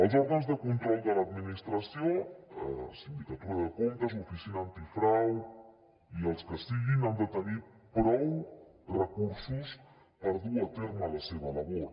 els òrgans de control de l’administració sindicatura de comptes oficina antifrau i els que siguin han de tenir prou recursos per dur a terme la seva labor